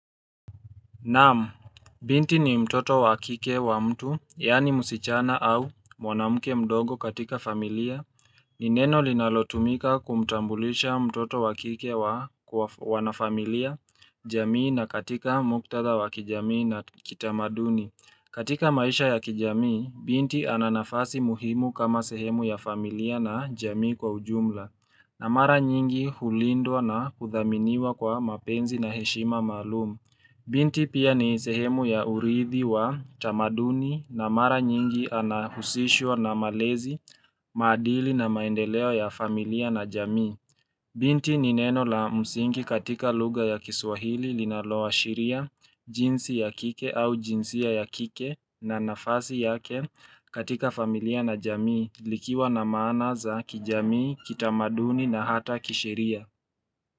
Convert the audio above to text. Nam, binti ni mtoto wa kike wa mtu, yaani musichana au mwanamuke mdogo katika familia. Nineno linalotumika kumtambulisha mtoto wakike wa wanafamilia, jamii na katika muktada wa kijamii na kitamaduni. Katika maisha ya kijamii, binti ananafasi muhimu kama sehemu ya familia na jamii kwa ujumla. Na mara nyingi hulindwa na kuthaminiwa kwa mapenzi na heshima maalum. Binti pia ni sehemu ya uridhi wa tamaduni na mara nyingi anahusishwa na malezi, maadili na maendeleo ya familia na jamii. Binti ni neno la msingi katika lugha ya kiswahili linaloashiria, jinsi ya kike au jinsia ya kike na nafasi yake katika familia na jamii likiwa na maana za kijamii, kitamaduni na hata kisheria.